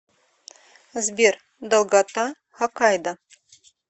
сбер долгота хокайдо